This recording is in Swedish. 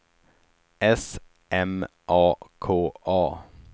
S M A K A